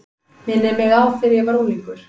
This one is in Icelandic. Minnir mig á þegar ég var unglingur.